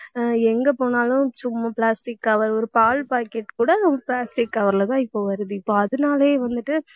ஆஹ் எங்க போனாலும் சும்மா plastic cover ஒரு பால் packet கூட plastic cover லதான் இப்ப வருது. இப்ப அதனாலயே வந்துட்டு